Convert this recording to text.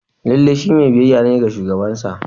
Lallai shi mai biyayya ne ga shugabansa